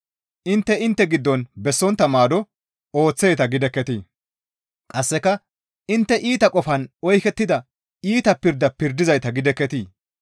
intte intte giddon bessontta maado ooththeeta gidekketii? Qasseka intte iita qofan oykettida iita pirda pirdizayta gidekketii?